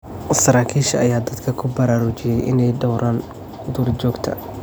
Saraakiisha ayaa dadka ku baraarujiyay in ay dhowraan duurjoogta.